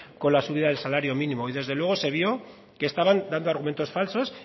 con la subida del salario mínimo y desde luego se vio que estaban dando argumentos falsos